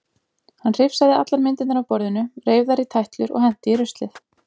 Hann hrifsaði allar myndirnar af borðinu, reif þær í tætlur og henti í ruslið.